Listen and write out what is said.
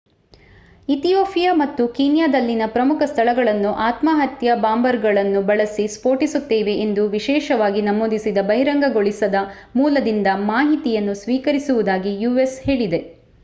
Ethiopia ಮತ್ತು ಕೀನ್ಯಾದಲ್ಲಿನ ಪ್ರಮುಖ ಸ್ಥಳಗಳನ್ನು ಆತ್ಮಹತ್ಯಾ ಬಾಂಬರ್‌ಗಳನ್ನು ಬಳಸಿ ಸ್ಫೋಟಿಸುತ್ತೇವೆ ಎಂದು ವಿಶೇಷವಾಗಿ ನಮೂದಿಸಿದ ಬಹಿರಂಗಗೊಳಿಸದ ಮೂಲದಿಂದ ಮಾಹಿತಿಯನ್ನು ಸ್ವೀಕರಿಸಿರುವುದಾಗಿ ಯು.ಎಸ್ ಹೇಳಿದೆ